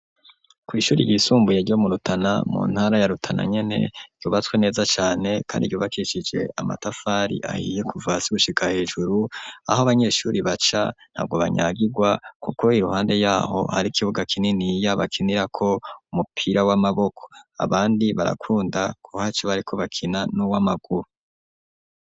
Kw'ishuri ryisumbuye ryo mu Rutana mu ntara ya Rutana nyene ryubatswe neza cane ,kandi ryubakishije amatafari ahiye kuva hasi gushika hejuru, aho abanyeshuri baca ntabwo banyagigwa kuku iruhande yaho hari ikibuga kininiya bakinirako umupira w'amaboko, abandi barakunda kuhaca bariko bakina n'uw'amaguru.